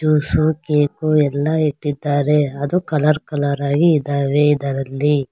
Juice cake ಎಲ್ಲಾ ಇಟ್ಟಿದ್ದಾರೆ ಅದು ಕಲರ್ ಕಲರ್ ಆಗಿ ಇದಾವೆ ಇದರಲ್ಲಿ.